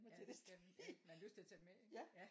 ja det skal man ja man har lyst til at tage den med ikke? ja